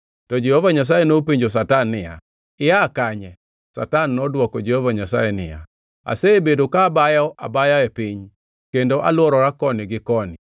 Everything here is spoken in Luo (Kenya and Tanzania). To Jehova Nyasaye nopenjo Satan niya, “Ia kanye?” Satan nodwoko Jehova Nyasaye niya, “Asebedo ka abayo abaya e piny, kendo alworora koni gi koni.”